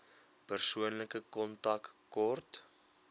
persoonlike kontak kort